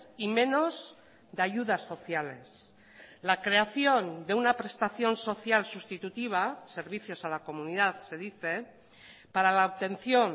y menos de ayudas sociales la creación de una prestación social sustitutiva servicios a la comunidad se dice para la obtención